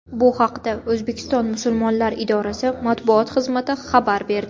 Bu haqda O‘zbekiston musulmonlar idorasi matbuot xizmati xabar berdi .